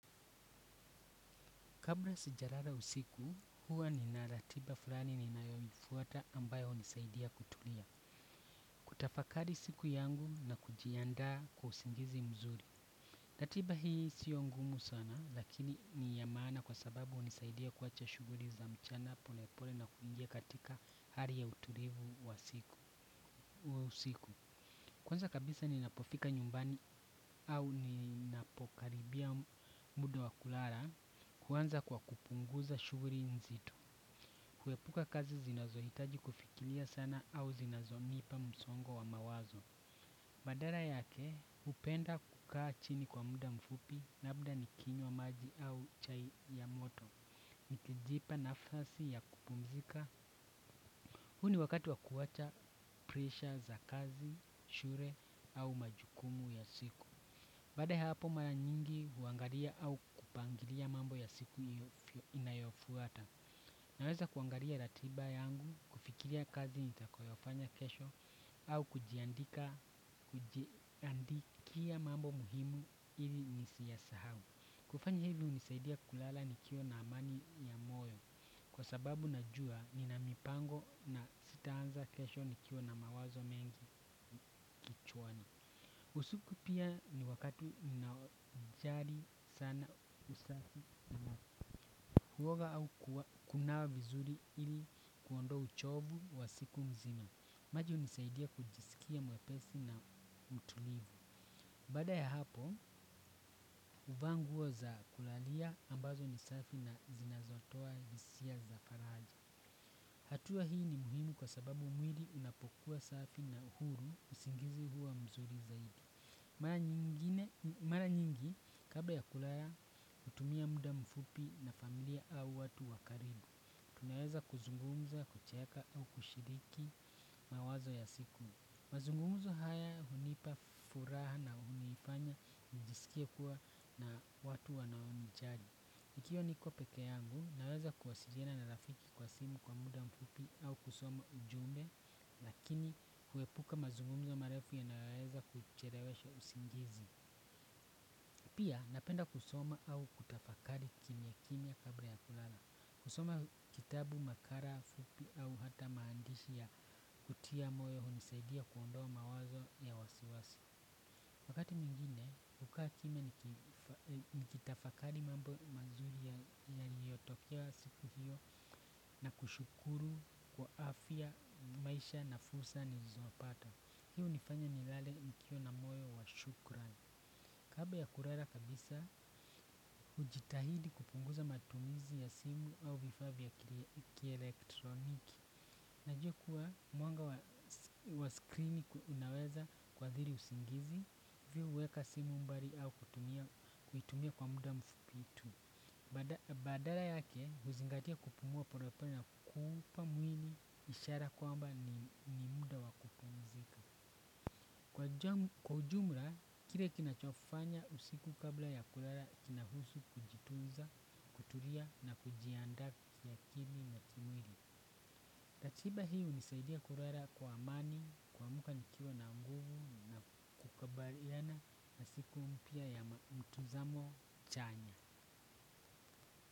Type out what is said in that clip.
Kabla sijalala usiku, huwa ninaratiba fulani ninayoifuata ambayo unisaidia kutulia. Kutafakari siku yangu na kujiandaa kwa usingizi mzuri. Latiba hii sio ngumu sana, lakini ni ya maana kwa sababu unisaidia kuacha shuguli za mchana polepole na kuingia katika hali ya utulivu wa usiku. Kwanza kabisa ninapofika nyumbani au ninapokaribia muda wa kulala kwanza kwa kupunguza shugri nzito. Kuepuka kazi zinazo hitaji kufikilia sana au zinazo nipa msongo wa mawazo. Badara yake upenda kukaa chini kwa muda mfupi na labda nikinyo maji au chai ya moto. Nikijipa nafasi ya kupumzika. Huni wakati wa kuwacha presha za kazi, shure au majukumu ya siku. Baada ya hapo mara nyingi huangaria au kupangilia mambo ya siku inayofuata. Naweza kuangaria ratiba yangu, kufikilia kazi nitakoyofanya kesho au kujiandika, kujiandikia mambo muhimu hili nisiyasahau. Kufanya hili unisaidia kulala nikiwa na amani ya moyo. Kwa sababu najua nina mipango na sitaanza kesho nikiwa na mawazo mengi kichwani. Usiku pia ni wakatina jari sana usafi na huoga au kunawa vizuri ili kuondoa uchovu wa siku mzima. Maji unisaidia kujisikia mwepesi na mtulivu. Baada ya hapo, uvaa nguo za kulalia ambazo ni safi na zinazotoa hisia za faraja. Hatua hii ni muhimu kwa sababu mwili unapokuwa safi na uhuru usingizi huwa mzuri zaidi. Mara nyingi, kabla ya kulara, utumia muda mfupi na familia au watu wa karibu. Tunaweza kuzungumza, kucheka au kushiriki mawazo ya siku. Mazungumzo haya hunipa furaha na unifanya njisikia kuwa na watu wanaonijari. Ikiwa niko peke yangu, naweza kuwasijena na rafiki kwa simu kwa muda mfupi au kusoma ujumbe, lakini huepuka mazungumzo marefu yanaweza kucherewesha usingizi. Pia, napenda kusoma au kutafakari kimya kimya kabri ya kulala. Kusoma kitabu makala, fupi au hata maandishi ya kutia moyo hunisaidia kuondoa mawazo ya wasiwasi. Wakati mwingine, ukakime nikitafakali mambo mazuri yaliyotokea siku hiyo na kushukuru kwa afya maisha na fursa ni zonapata. Hi unifanya ni lale nikiwa na moyo wa shukran. Kabla ya kurara kabisa, ujitahidi kupunguza matumizi ya simu au vifaa vya kielektroniki. Najua kuwa mwanga wa screeni unaweza kuathiri usingizi, hivyo uweka simu mbari au kuitumia kwa muda mfukitu. Badala yake huzingatia kupumua porepore na kupa mwili ishara kwamba ni muda wa kupumzika. Kwa jumra, kire kinachofanya usiku kabla ya kulala kinahusu kujitunza, kutulia na kujiandaa kiakili na kimwili. Ratiba hunisaidia kurera kwa amani, kuamuka nikiwa na nguvu na kukabaliana na siku mpya ya mtazamo chanya.